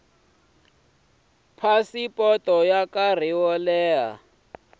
phasipoto ya nkarhi wo leha